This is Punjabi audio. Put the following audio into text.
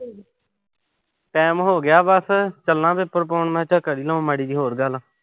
time ਹੋਗਿਆ ਬਸ। ਚੱਲਾਂ ਮੈਂ ਪੇਪਰ ਪਾਉਣ। ਮੈਂ ਕਿਆ ਕਰ ਹੀ ਲਵਾਂ ਮਾੜੀ ਜੀ ਹੋਰ ਗੱਲ।